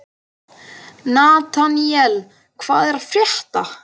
Nataníel, hvað er að frétta?